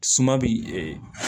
Suma bi ɛ